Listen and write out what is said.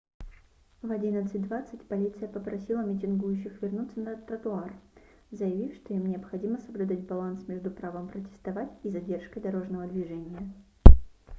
в 11:20 полиция попросила митингующих вернуться на тротуар заявив что им необходимо соблюдать баланс между правом протестовать и задержкой дорожного движения